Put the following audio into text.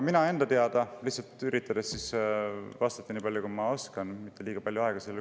Aga üritan vastata nii palju, kui ma oskan, ja sellele mitte liiga palju aega kulutada.